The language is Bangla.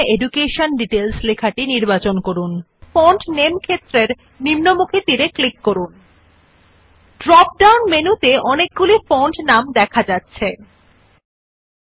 সুতরাং প্রথম টেক্সট শিক্ষা বিবরণ নির্বাচন করুন তারপর ফন্টের নাম ক্ষেত্রের নিম্নমুখী তীর ক্লিক করুন So first select the text education details then click on the down arrow in the font name field